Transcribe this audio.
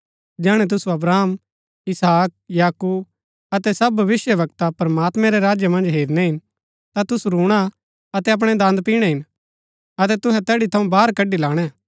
जैहणै तुसु अब्राहम इसहाक याकूब अतै सब भविष्‍यवक्ता प्रमात्मैं रै राज्य मन्ज हेरनै हिन ता तुसु रूणा अतै अपणै दन्द पिणै हिन अतै तुहै तैड़ी थऊँ बाहर कड़ी लाणै